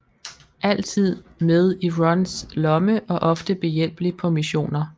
Altid med i Rons lomme og ofte behjælpelig på missioner